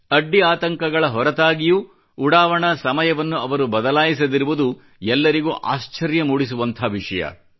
ಅಡ್ಡಿ ಆತಂಕಗಳ ಹೊರತಾಗಿಯೂ ಉಡಾವಣಾ ಸಮಯವನ್ನು ಅವರು ಬದಲಾಯಿಸದಿರುವುದು ಎಲ್ಲರಿಗೂ ಆಶ್ಚರ್ಯ ಮೂಡಿಸುವಂಥ ವಿಷಯ